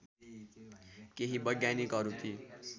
केही वैज्ञानिकहरू ती